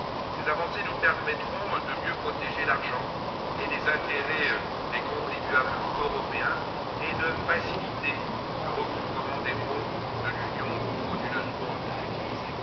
Ces avancées nous permettront de mieux protéger l'argent et les intérêts des contribuables européens et de faciliter le recouvrement des fonds de l'Union frauduleusement utilisés.